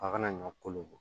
A kana ɲɔ kolo bɔ